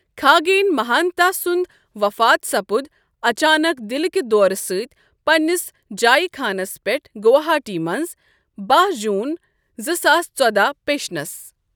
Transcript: کھاگیٚن مہَانتا سُنٛد وفات سپُد اچانک دلکہِ دورٕ سٕتی پنٔنِس جایہِ خانس پؠٹھ گواہٹی مٕنٛز، ۱۲ جوٗن ۲۰۱۴ پیٚشنس۔